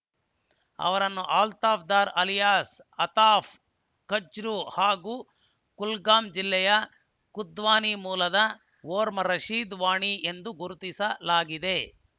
ಅವರನ್ನು ಅಲ್ತಾಫ್‌ ದಾರ್ ಅಲಿಯಾಸ್‌ ಅತಾಫ್‌ ಕಚ್ರೂ ಹಾಗೂ ಕುಲ್ಗಾಂ ಜಿಲ್ಲೆಯ ಖುದ್ವಾನಿ ಮೂಲದ ಒಮರ್‌ ರಶೀದ್‌ ವಾಣಿ ಎಂದು ಗುರುತಿಸಲಾಗಿದೆ